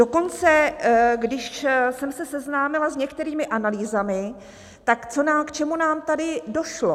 Dokonce když jsem se seznámila s některými analýzami, tak k čemu nám tady došlo?